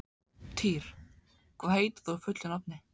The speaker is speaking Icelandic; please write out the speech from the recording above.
Týr, hvað heitir þú fullu nafni?